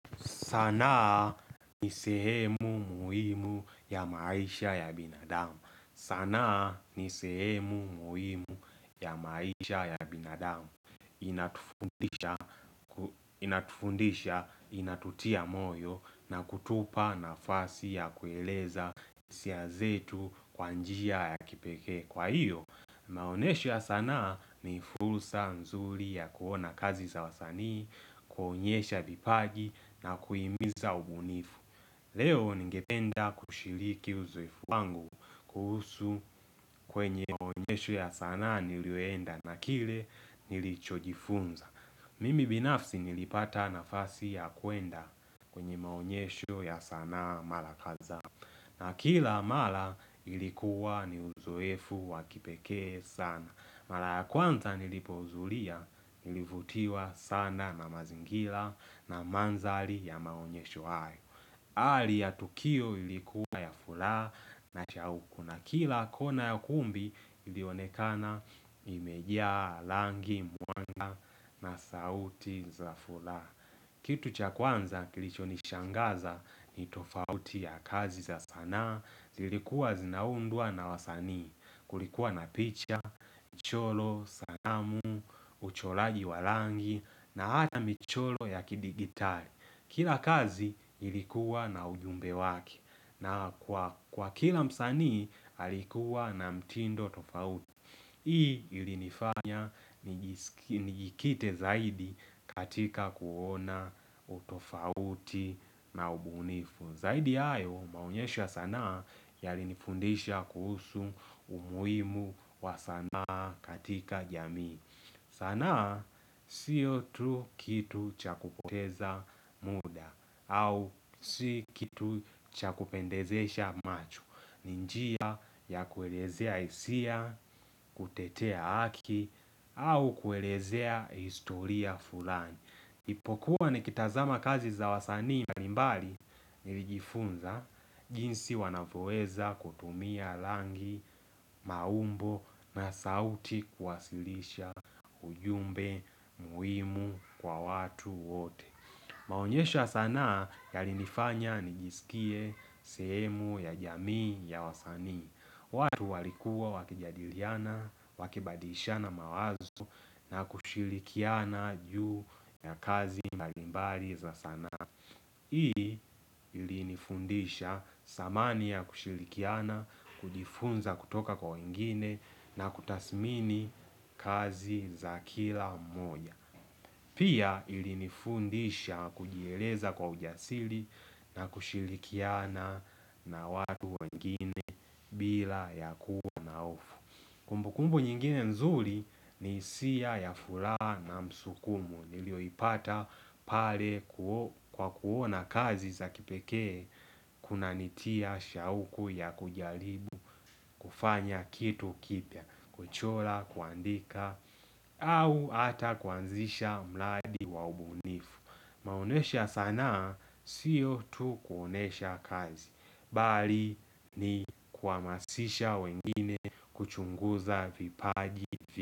Sanaa ni sehemu muhimu ya maisha ya binadamu. Sanaa ni sehemu muhimu ya maisha ya binadamu. Inatufundisha, inatutia moyo na kutupa nafasi ya kueleza hisia zetu kwa njia ya kipekee kwa hiyo. Maonesho ya sanaa ni fursa nzuri ya kuona kazi za wasanii, kuonyesha vipaji na kuhimiza ubunifu. Leo ningependa kushiriki uzoefu wangu kuhusu kwenye maonyesho ya sanaa niliyoenda na kile nilichojifunza. Mimi binafsi nilipata nafasi ya kuenda kwenye maonyesho ya sanaa mara kadhaa. Na kila mara ilikuwa ni uzoefu wa kipekee sana. Mara ya kwanza nilipohudhuria nilivutiwa sana na mazingira na mandhari ya maonyesho hayo. Hali ya tukio ilikuwa ya furaha na cha uku na kila kona ya kumbi ilionekana imejaa rangi, mwanga na sauti za furaha. Kitu cha kwanza kilichonishangaza ni tofauti ya kazi za sanaa, zilikuwa zinaundwa na wasani. Kulikuwa na picha, mchoro, sanamu, uchoraji wa rangi na hata michoro ya kidigitali. Kila kazi ilikuwa na ujumbe wake na kwa kila msanii alikuwa na mtindo tofauti. Hii ilinifanya nijikite zaidi katika kuona utofauti na ubunifu. Zaidi ya hayo maonyesho ya sanaa yalinifundisha kuhusu umuhimu wa sanaa katika jamii. Sanaa siyo tu kitu cha kupoteza muda au si kitu cha kupendezesha macho. Ni njia ya kuelezea hisia, kutetea haki, au kuelezea historia fulani. Nilipokuwa nikitazama kazi za wasanii mbali mbali nilijifunza jinsi wanavyoweza kutumia rangi, maumbo na sauti kuwasilisha ujumbe muhimu kwa watu wote. Maonyesha ya sanaa yalinifanya nijisikie sehemu ya jamii ya wasanii. Watu walikuwa wakijadiliana, wakibadilishana mawazo na kushirikiana juu ya kazi mbalimbali za sanaa. Hii ilinifundisha samani ya kushirikiana, kujifunza kutoka kwa wengine na kutasmini kazi za kila mmoja. Pia ilinifundisha kujieleza kwa ujasiri na kushirikiana na watu wengine bila ya kuwa na hofu. Kumbukumbu nyingine nzuri ni hisia ya furaha na msukumo niliyoipata pale kwa kuona kazi za kipekee kunanitia shauku ya kujaribu kufanya kitu kipya kuchora, kuandika au hata kuanzisha mradi wa ubunifu. Maonesha ya sanaa siyo tu kuonesha kazi bali ni kuhamasisha wengine kuchunguza vipaji.